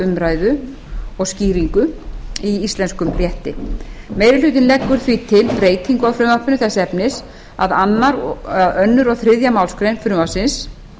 umræðu og skýringu í íslenskum rétti meiri hlutinn leggur því til breytingu á frumvarpinu þess efnis að öðru og þriðju málsgrein frumvarpsins